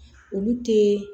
Olu tee